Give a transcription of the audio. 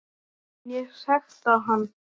Mun ég sekta hann?